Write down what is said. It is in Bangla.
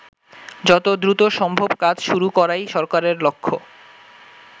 যত দ্রুত সম্ভব কাজ শুরু করাই সরকারের লক্ষ্য।